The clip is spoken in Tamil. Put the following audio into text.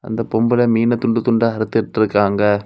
அந்த பொம்பள மீன துண்டு துண்ட அறுத்துட்டு இருக்காங்க.